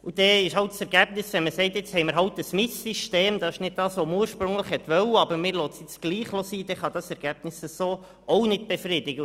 Demzufolge kann das Ergebnis, wenn man nun ein Mischsystem hat, das nicht dem entspricht, was man ursprünglich wollte, es aber trotzdem belässt, auch nicht befriedigen.